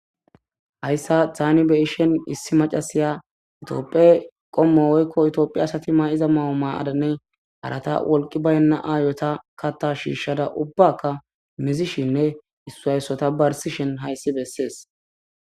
hayssa taynibe ishen issi macasiya itioophe qommo weykko itiophi asati may7iza mawuma adanne arata wolqi bayna aayota katta shiishada ubbakka mizishinne issu hayssota barsishen hayssi bessees